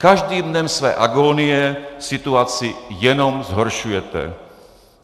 Každým dnem své agónie situaci jenom zhoršujete.